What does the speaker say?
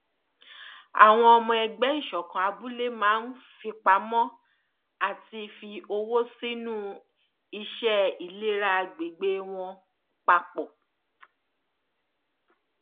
àwọn ọmọ ẹgbẹ ìṣọkan abúlé máa ń fipamọ àti fi owó sínú iṣẹ ìlera agbègbè wọn papọ